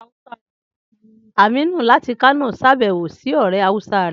Aminu láti Kano ṣàbẹ̀wò sí ọ̀rẹ́ hausa rẹ̀